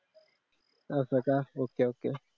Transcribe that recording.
असं का okay okay